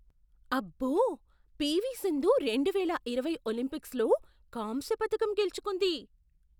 అబ్బో, పీవీ సింధు రెండువేల ఇరవై ఒలింపిక్స్లో కాంస్య పతకం గెలుచుకుంది.